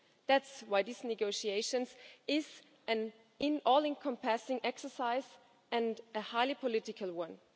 That's why these negotiations are an all encompassing exercise and a highly political one.